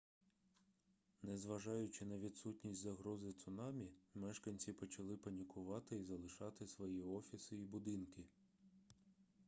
незважаючи на відсутність загрози цунамі мешканці почали панікувати і залишати свої офіси і будинки